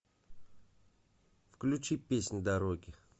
включи песнь дороги